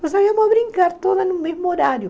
Nós íamos brincar todas no mesmo horário.